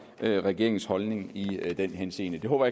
eller regeringens holdning i den henseende det håber